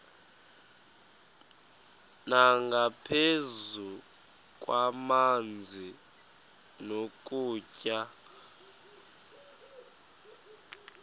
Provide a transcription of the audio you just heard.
nangaphezu kwamanzi nokutya